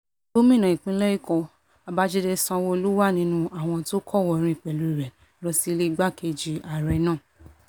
gómìnà ìpínlẹ̀ èkó babájídé sanwoluu wà nínú àwọn tó kọ̀wòọ́rìn pẹ̀lú rẹ̀ lọ sílẹ̀ igbákejì igbákejì ààrẹ náà